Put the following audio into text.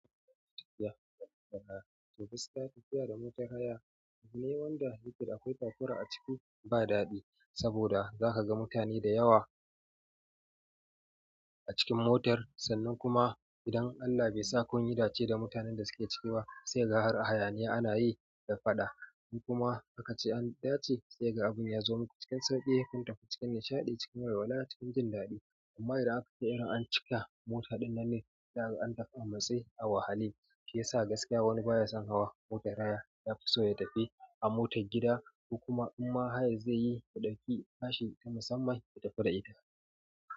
To gaskiya tafiya da motar haya, kaman wanda yake da akwai takura a ciki ba daɗi, saboda zaka ga mutane da yawa a cikin motar, sannan kuma idan allah baisa kunyi dace da mutanen da suke ciki ba sai kaga har hayaniya ana yi da faɗa kuma aka ce an dace sai kaga abin ya zo maku cikin sauƙi, kun tafi cikin nishaɗi, cikin walwala, cikin jin daɗi. Amma idan aka yi irin an cika mota ɗin nan ne, za kaga an tafi a matse a wahale, shiyasa gaskiya wani baya son hawa motar haya. Ya fiso ya tafi a motar gida ko kuma imma hayar zai yi ya ɗauki tashi ta musamman ya tafi da ita.